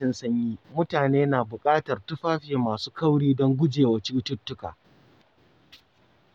A lokacin sanyi, mutane na bukatar tufafi masu kauri don gujewa cututtuka.